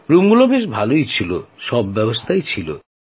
রুমগুলো ভালোই ছিল সব ব্যবস্থাই ছিল